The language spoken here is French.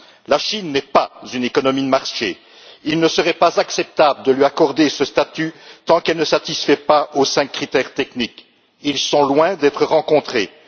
La Chine n'est pas une économie de marché, il ne serait pas acceptable de lui accorder ce statut tant qu'elle ne satisfait pas aux cinq critères techniques, qui sont loin d'être respectés.